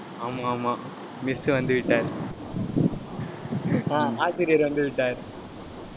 ஆமாம், ஆமாம் miss வந்துவிட்டார் ஆஹ் ஆசிரியர் வந்துவிட்டார்.